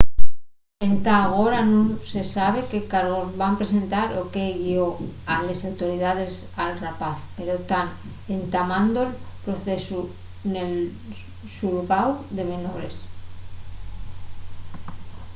entá agora nun se sabe qué cargos van presentar o qué guió a les autoridaes al rapaz pero tán entamando'l procesu nel xulgáu de menores